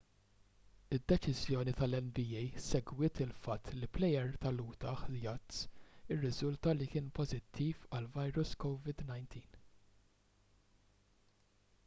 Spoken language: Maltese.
id-deċiżjoni tal-nba segwiet il-fatt li plejer tal-utah jazz irriżulta li kien pożittiv għall-virus covid-19